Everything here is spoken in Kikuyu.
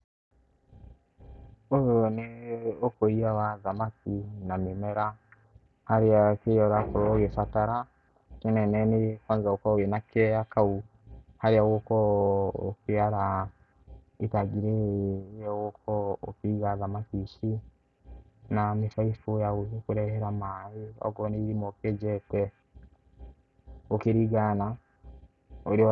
Ũyũ nĩ ũkũria wa thamaki na mĩmera harĩa kĩrĩa ũrakorwo ũgĩbatara kĩnene nĩ wagĩrĩirwo gũkorwo wĩna kea kau harĩa ũgũkorwo ũkĩara itangi rĩrĩ rĩrĩa ũgũkorwo ũkĩiga thamaki ici, na mĩbaibũ ya gũgĩkũrehera maĩ, okorwo nĩ irima ũkĩenjete gũkĩringana na ũrĩa